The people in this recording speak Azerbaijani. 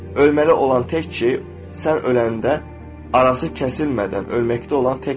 Ölməli olan tək şey sən öləndə arası kəsilmədən ölməkdə olan tək şey.